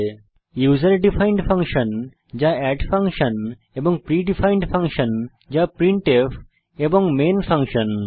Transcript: প্রথমটি হল user defined function যা আমাদের এড ফাংশন এবং প্রি ডিফাইনড ফাংশন যা প্রিন্টফ এবং মেইন ফাংশন